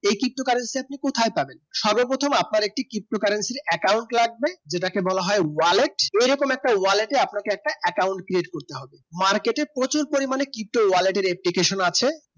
এই ptocurrency আপনি কোথায় পাবেন সর্ব প্রথম আপনার একটি ptocurrency এর একটি account লাগবে যেটাকে বলা হয় wallet এই রকম একটি wallet এর আপনাকে একটা account create করতে হবে market প্রচুর পরিমানে wallet এর application আছে